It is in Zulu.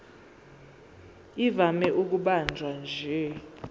ivame ukubanjwa nje